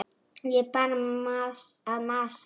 Ég er bara að masa.